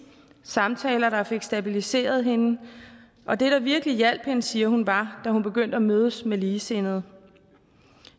samtaler der fik stabiliseret hende og det der virkelig hjalp hende siger hun var da hun begyndte at mødes med ligesindede